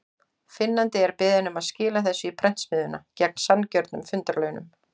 Finnandi er beðinn um að skila þessu í prentsmiðjuna, gegn sanngjörnum fundarlaunum.